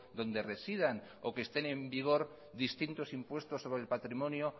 donde residan o que estén en vigor distintos impuestos sobre el patrimonio